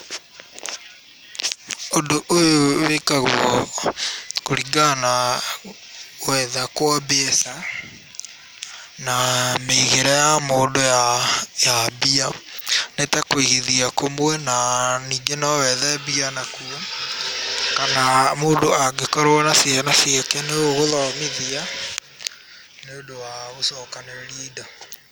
Ũndũ ũyũ wĩkagwo kũringana na gwetha kwa mbeca na mĩigĩre ya mũndũ ya mbia. Nĩ ta kũigithia kũmwe na ningĩ no wethe mbia kana mũndũ angĩkorwo na ciana ciake no ũgũthomithia, nĩ ũndũ wa gũcokanĩrĩria indo.